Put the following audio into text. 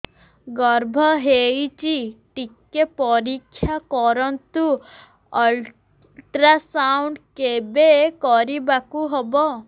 ଗର୍ଭ ହେଇଚି ଟିକେ ପରିକ୍ଷା କରନ୍ତୁ ଅଲଟ୍ରାସାଉଣ୍ଡ କେବେ କରିବାକୁ ହବ